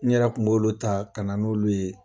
N yɛrɛ kun b'olu ta ka na n'olu ye.